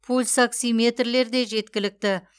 пульсоксиметрлер де жеткілікті